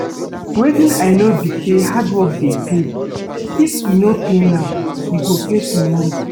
Wetin I no be say hardwork dey pay. If e no pay now, e go pay tomorrow